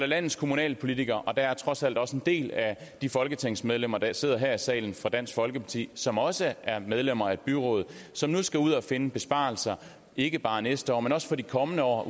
landets kommunalpolitikere og der er trods alt også en del af de folketingsmedlemmer der sidder her i salen fra dansk folkeparti som også er medlemmer af et byråd som nu skal ud og finde besparelser ikke bare næste år men også for de kommende år